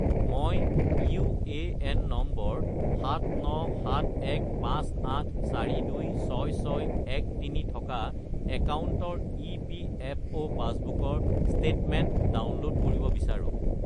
মই UAN number 797158426613 থকা একাউণ্টৰ ইপিএফঅ’ পাছবুকৰ ষ্টেটমেণ্ট ডাউনলোড কৰিব বিচাৰোঁ